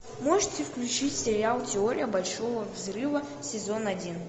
можете включить сериал теория большого взрыва сезон один